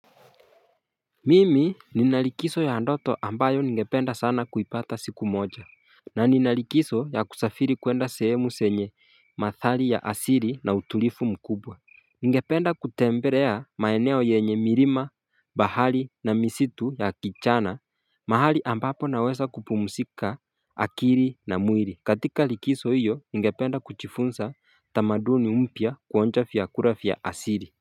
Mimi ninalikizo ya ndoto ambayo ningependa sana kuipata siku moja, na nina likizo ya kusafiri kwenda sehemu zenye mathali ya asili na utulivu mkubwa Ninge penda kutembelea maeneo yenye mirima bahali na misitu ya kichana mahali ambapo naweza kupumzika akiri na mwili katika likizo hiyo ningependa kujifunza tamaduni mpya kuonja vyakula vya asili.